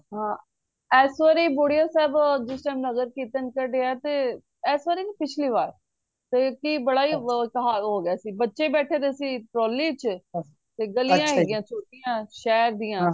ਹਾਂ ਇਸ ਵਾਰੀ ਬੁੜੀਆਂ ਸਾਹਿਬ ਜਿਸ time ਨਗਰ ਕੀਰਤਨ ਕੱਡਿਆ ਤੇ ਇਸ ਵਾਰ ਨਹੀਂ ਪਿਛਲੀ ਵਾਰ ਤੇ ਕਿ ਬੜਾ ਸਹਾਰ ਹੋ ਗਯਾ ਸੀ ਬੱਚੇ ਬੈਠੇ ਦੇ ਸੀ trolly ਚ ਤੇ ਤੇ ਗਲੀਆਂ ਹੈਗੀਆਂ ਛੋਟੀਆਂ ਸ਼ਹਿਰ ਦੀਆ